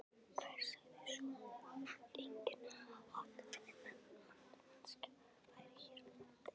Hver sagði svo að engin atvinnumennska væri hér á landi?